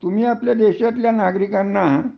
तुम्ही आपल्या देशातल्या नागरिकांना